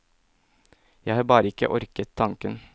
Jeg har bare ikke orket tanken.